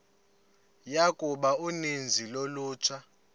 yokuba uninzi lolutsha